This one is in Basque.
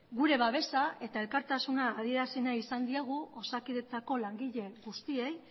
gure babesa eta elkartasuna adierazi nahi izan diegu osakidetzako langile guztiei